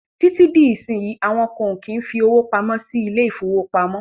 Títí dí ìsínyí, àwọn kan o kí ń fí owó pamọ́ sí ilé ìfọwọ́pamó.